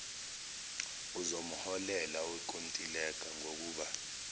uzomholela owenkontileka ngokuba